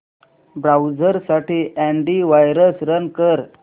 browser साठी antivirus run कर